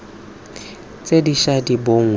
tse di ša di bonwa